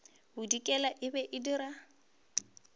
bodikela e be e dira